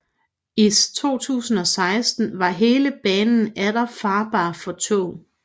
I 2016 var hele banen atter farbar for tog